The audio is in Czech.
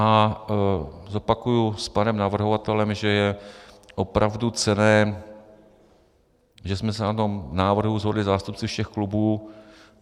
A zopakuji s panem navrhovatelem, že je opravdu cenné, že jsme se na tom návrhu shodli zástupci všech klubů.